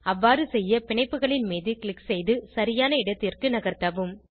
அவ்வாறு செய்ய பிணைப்புகளின் மீது க்ளிக் செய்து சரியான இடத்திற்கு நகர்த்தவும்